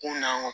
Kun na